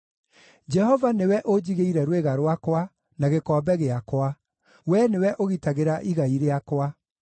Jehova nĩwe ũnjigĩire rwĩga rwakwa, na gĩkombe gĩakwa; Wee nĩwe ũgitagĩra igai rĩakwa.